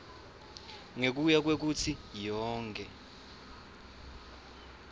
ngekuya kwekutsi yonkhe